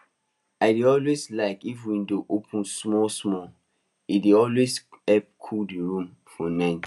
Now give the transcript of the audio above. i dey always like if window open small small e dey always help cool the room for night